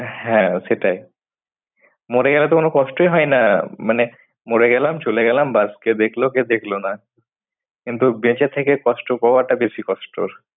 হ্যাঁ সেটাই। মরে গেলে তো কোনো কষ্টই হয় না মানে মরে গেলাম চলে গেলাম ব্যাস কেউ দেখলো কেউ দেখলো না। কিন্তু বেঁচে থেকে কষ্ট পাওয়াটা